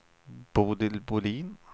Bodil Bolin